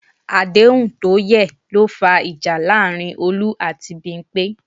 Àdéhùn tó yẹ̀ ló fa ìjà láàárín Olú àti Bímpé